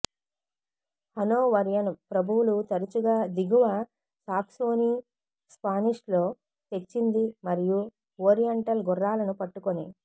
Hanoverian ప్రభువులు తరచుగా దిగువ సాక్సోనీ స్పానిష్ లో తెచ్చింది మరియు ఓరియంటల్ గుర్రాలను పట్టుకొని